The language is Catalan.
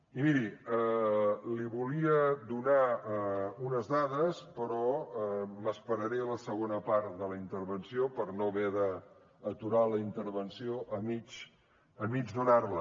i miri li volia donar unes dades però m’esperaré a la segona part de la intervenció per no haver d’aturar la intervenció a mig donar les